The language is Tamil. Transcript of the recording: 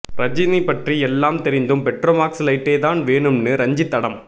ரஜினி பற்றி எல்லாம் தெரிந்தும் பெட்ரோமாக்ஸ் லைட்டே தான் வேணும்னு ரஞ்சித் அடம்